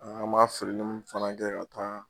An m'a feereli mun fana kɛ ka taa